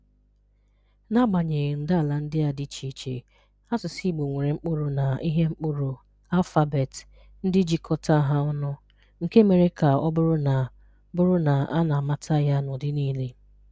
N'agbanyeghi ndàala ndị a dị iche iche, asụsụ Igbo nwere mkpụrụ na ihe mkpụrụ (alphabet) ndị jikọta ha ọnụ, nke mere ka ọ bụrụ na bụrụ na a na-amata ya n’ụdị niile.